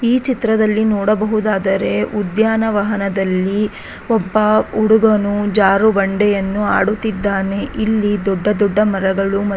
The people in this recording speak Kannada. ಈ ಚಿತ್ರದಲ್ಲಿ ನೋಡಬಹುದಾದರೆ ಉದ್ಯಾನವಹನದಲ್ಲಿ ಒಬ್ಬ ಹುಡುಗನು ಜಾರುಬಂಡೆಯನ್ನು ಆಡುತ್ತಿದ್ದಾನೆ ಇಲ್ಲಿ ದೊಡ್ಡ ದೊಡ್ಡ ಮರಗಳು ಮ --